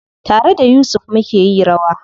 Tare da Yusuf mukeyi rawa.